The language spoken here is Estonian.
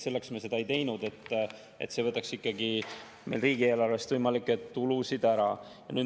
Selleks me seda ei teinud, et see võtaks meil riigieelarvest võimalikke tulusid ära.